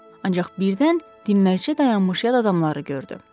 Ancaq birdən dinməzcə dayanmış yad adamları gördü.